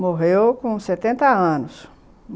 Morreu com setenta anos.